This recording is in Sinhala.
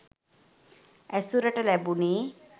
ඇසුරට ලැබුණෙ.